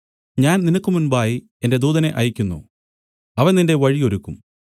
ഞാൻ നിനക്ക് മുമ്പായി എന്റെ ദൂതനെ അയയ്ക്കുന്നു അവൻ നിന്റെ വഴി ഒരുക്കും